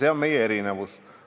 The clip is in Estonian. See on meie erinevus.